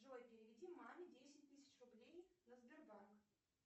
джой переведи маме десять тысяч рублей на сбербанк